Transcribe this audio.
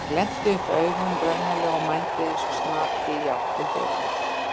Ég glennti upp augun raunalega og mændi eins og snati í átt til dyranna.